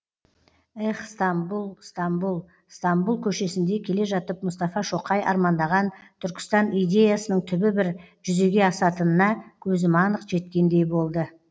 эх стамбұл стамбұл стамбұл көшесінде келе жатып мұстафа шоқай армандаған түркістан идеясының түбі бір жүзеге асатынына көзім анық жеткендей болды